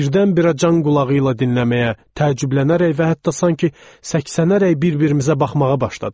Birdən-birə can qulağı ilə dinləməyə, təəccüblənərək və hətta sanki səksənərək bir-birimizə baxmağa başladıq.